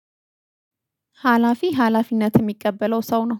ሀላፊ ሀላፊነት ሚቀበለው ሰው ነው